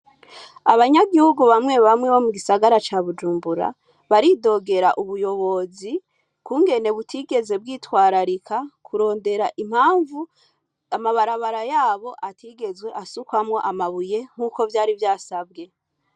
Abanyagihugu bamwe bamwe bo mu gisagara ca Bujumbura baridogera ubuyobozi kungene butigeze bwitwararika kurondera impamvu amabarabara yabo atigeze asukwamwo amabuye nkuko vyari vyasabwe.